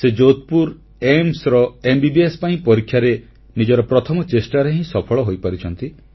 ସେ ଯୋଧପୁର ଏମ୍ସ ର ଏମବିବିଏସ ପାଇଁ ପରୀକ୍ଷାରେ ନିଜର ପ୍ରଥମ ଚେଷ୍ଟାରେ ହିଁ ସଫଳ ହୋଇପାରିଛନ୍ତି